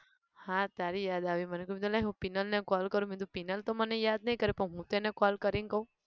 હા તારી યાદ આવી મને કહ્યું ક લાય હું પીનલ ને call કરું મેં કીધું પીનલ તો મને યાદ નઈ કરે પણ હું તો એને call કરીન કહું!